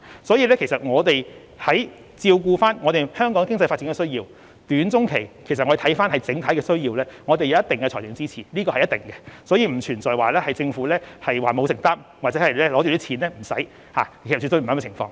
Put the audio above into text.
所以，為照顧香港的短、中期經濟發展需要，我們會視乎整體情況給予一定的財政支持，這是必然的，並不存在政府不作承擔或有錢不花，絕對不會出現這種情況。